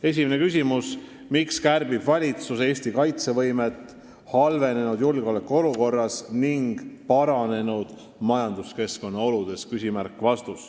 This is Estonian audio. Esimene küsimus: "Miks kärbib valitsus Eesti kaitsevõimet halvenenud julgeolekuolukorras ning paranenud majanduskeskkonna oludes?